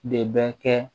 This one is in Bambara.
De bɛ kɛ